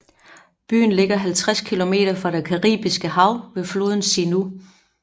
Byen ligger 50 km fra det Caribiske hav ved floden Sinú